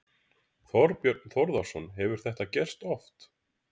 Þorbjörn Þórðarson: Hefur þetta gerst oft?